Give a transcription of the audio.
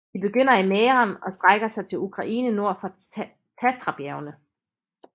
De begynder i Mähren og strækker sig til Ukraine nord for Tatrabjergene